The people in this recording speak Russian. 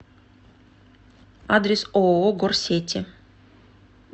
адрес ооо горсети